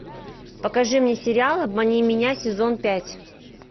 покажи мне сериал обмани меня сезон пять